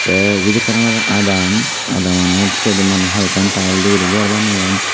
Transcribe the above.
te eben olodey ekkan adaam adamonot siyot hoyekkan tiles de goriney gor baneyon.